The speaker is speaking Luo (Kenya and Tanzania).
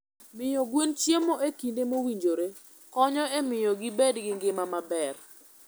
Miyo gwen chiemo e kinde mowinjore konyo e miyo gibed gi ngima maber.